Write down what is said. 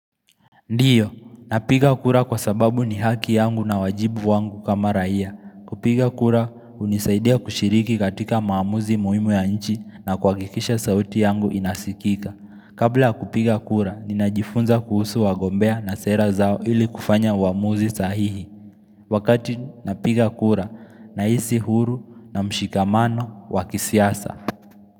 Ndiyo, napiga kura kwa sababu ni haki yangu na wajibu wangu kama raia kupiga kura, gunisaidia kushiriki katika maamuzi muhimu ya nchi na kuha kikisha sauti yangu inasikika Kabla kupiga kura, ninajifunza kuhusu wagombea na sera zao ili kufanya uamuzi sahihi Wakati napiga kura, nahisi huru na mshikamano wakisiasa.